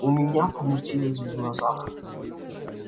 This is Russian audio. у меня помутилось в глазах